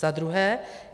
Za druhé.